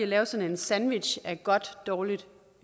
lave sådan en sandwich af godt dårligt